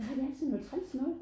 Nej det er sådan noget træls noget